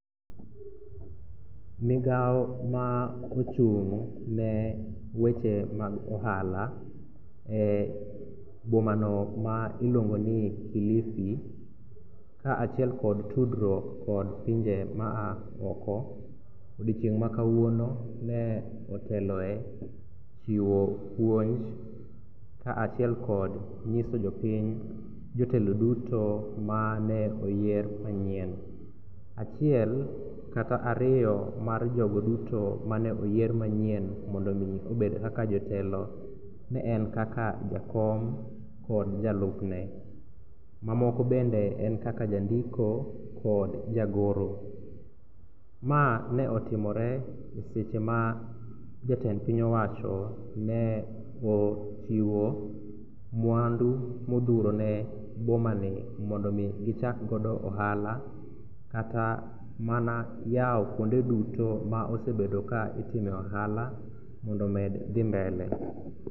Migao ma ochung'ne weche mag ohala e bomano ma iluongo ni Kilifi kaachiel kod tudruok kod pinje maa oko odiechieng' makawuono ne oteloe chiwo puonj kaachiel kod nyiso jopiny jotelo duto mane oyier manyien. Achiel kata ariyo mar jogo duto mane oyier manyien mondo omi obed kaka jotelo ne en kaka jakom kod jalupne, mamoko bende en kaka jandiko kod jagoro. Ma ne otimore e seche ma jatend piny owacho ne ochiwo mwandu modhuro ne bomani mondo omi gichakgodo ohala kata mana yawo kuonde duto ma osebedo ka itimoe ohala mondo omed dhi mbele.